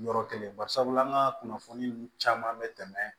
Yɔrɔ kelen barisabula an ka kunnafoni nun caman bɛ tɛmɛ